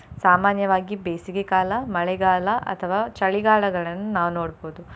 ಸಾಮಾನ್ಯವಾಗಿ ಬೇಸಿಗೆಕಾಲ, ಮಳೆಗಾಲ ಅಥವಾ ಚಳಿಗಾಲಗಳನ್ನು ನಾವು ನೋಡ್ಬೋದು.